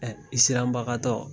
Ɛ i siranbagatɔ